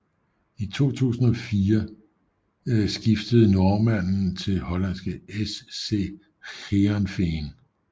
I 2004 skiftede normanden til hollandske SC Heerenveen